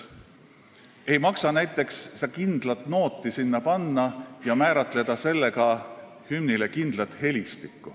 Ei maksa sinna näiteks panna kindlat nooti ja määrata sellega hümni helistik kindlaks.